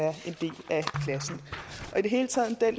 hele taget